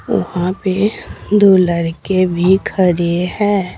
ऊहा पे दो लड़के भी खड़े हैं।